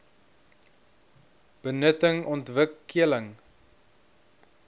benutting ontwik keling